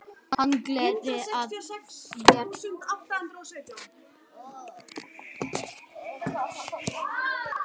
Hann geltir að mér í hvert sinn sem ég á leið hjá.